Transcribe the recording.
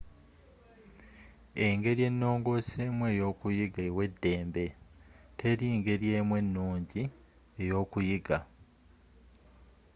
engeri enongooseemu eyookuyiga ewa eddembe teri ngeri emu ennungi eyokuyiga